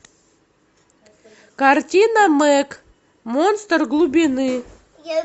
картина мэг монстр глубины